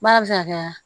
Baara bɛ se ka kɛ